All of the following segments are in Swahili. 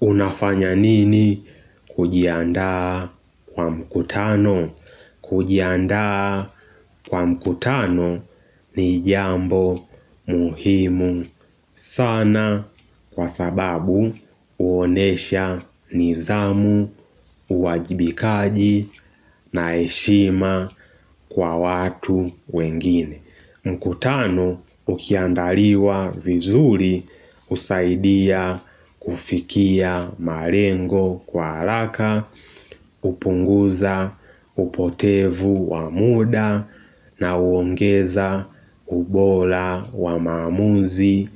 Unafanya nini kujiandaa kwa mkutano? Kujiandaa kwa mkutano ni jambo muhimu sana kwa sababu huonesha nidhamu, uwajibikaji na heshima kwa watu wengine. Mkutano ukiandaliwa vizuri husaidia kufikia malengo kwa haraka, hupunguza upotevu wa muda na huongeza ubora wa maamuzi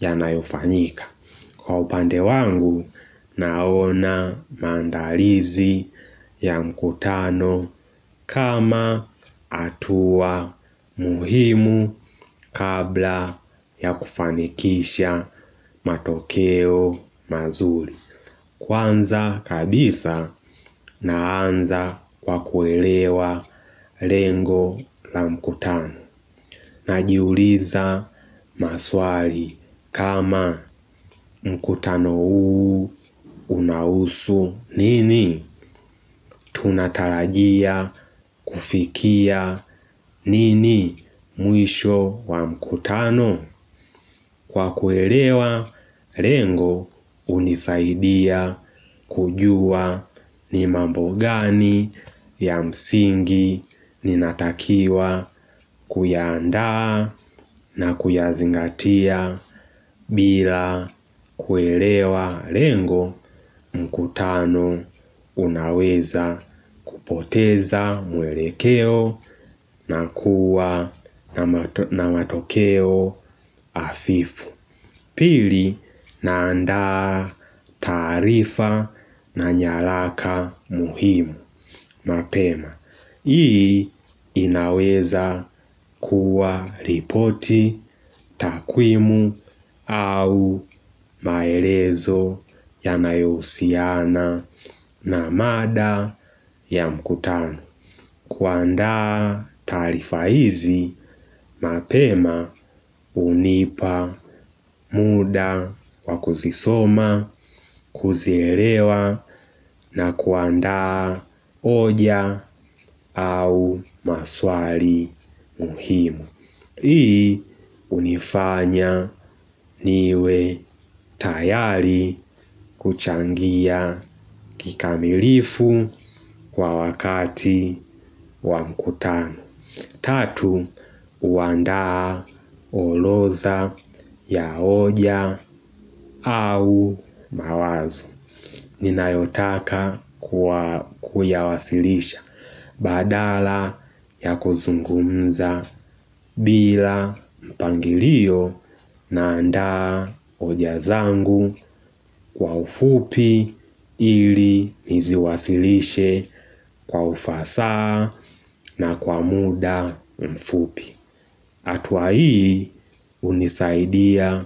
yanayofanyika. Kwa upande wangu, naona maandalizi ya mkutano kama hatua muhimu kabla ya kufanikisha matokeo mazuri. Kwanza kabisa, naanza kwa kuelewa lengo la mkutano. Najiuliza maswali kama mkutano huu unahusu nini? Tunatarajia kufikia nini mwisho wa mkutano kwa kuelewa lengo hunisaidia kujua ni mambo gani ya msingi ninatakiwa kuyaandaa na kuyazingatia. Bila kuelewa lengo mkutano unaweza kupoteza mwelekeo na kuwa na matokeo hafifu. Pili naanda taarifa na nyaraka muhimu mapema. Hii inaweza kuwa ripoti takwimu au maelezo yanayohusiana na mada ya mkutano. Kuandaa taarifa hizi mapema hunipa muda wa kuzisoma kuzielewa na kuandaa hoja au maswali muhimu. Hii hunifanya niwe tayari kuchangia kikamilifu kwa wakati wa mkutano. Tatu, huandaa orodha ya hoja au mawazo ninayotaka kuyawasilisha badala ya kuzungumza bila mpangilio naandaa hoja zangu kwa ufupi ili niziwasilishe kwa ufasaha na kwa muda mfupi. Hatua hii hunisaidia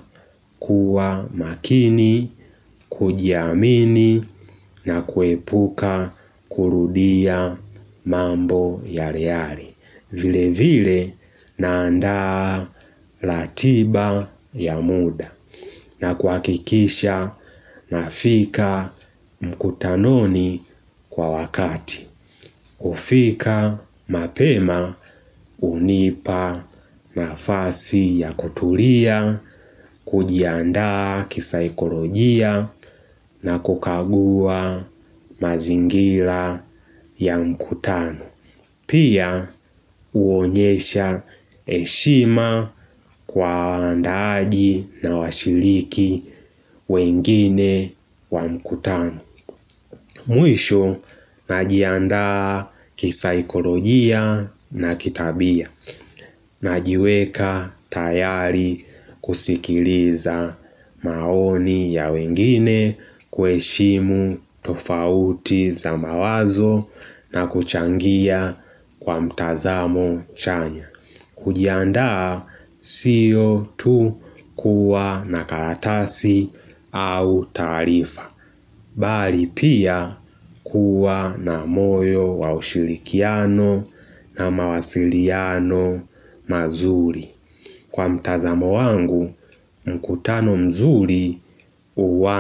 kuwa makini, kujiamini na kuepuka kurudia mambo yale yale. Vilevile naandaa ratiba ya muda na kuhakikisha nafika mkutanoni kwa wakati. Kufika mapema hunipa nafasi ya kutulia kujiandaa kisaikolojia na kukagua mazingira ya mkutano. Pia huonyesha heshima kwa waandaaji na washiriki wengine wa mkutano. Mwisho najiandaa kisaikolojia na kitabia. Najiweka tayari kusikiliza maoni ya wengine kuheshimu tofauti za mawazo na kuchangia kwa mtazamo chanya. Kujiandaa siyo tu kuwa na karatasi au taarifa bali pia kuwa na moyo wa ushirikiano na mawasiliano mazuri. Kwa mtazamo wangu mkutano mzuri.